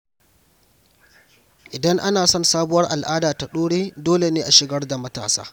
Idan ana son sabuwar al’ada ta dore, dole ne a shigar da matasa.